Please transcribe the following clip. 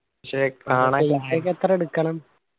എത്ര എടുക്കണം?